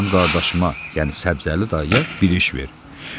Mənim qardaşıma, yəni Səbzəli dayıya bir iş ver.